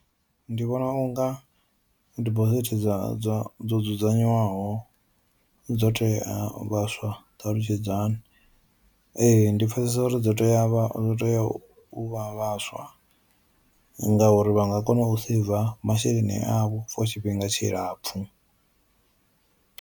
Ndi vhona unga dibosithi dza dza dzo dzudzanywaho dzo tea vhaswa ?Ṱalutshedzani. Ee ndi pfesesa uri dzo tea vha tea u vha vhaswa ngauri vha nga kona u saver masheleni avho for tshifhinga tshilapfu.